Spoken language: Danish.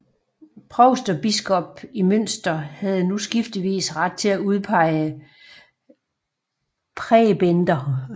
Provst og biskop i Münster havde nu skiftevis ret til at udpege præbender